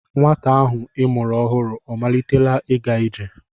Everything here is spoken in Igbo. Nwata ahụ I mụrụ ọhụrụ ọ malitela ịga ije?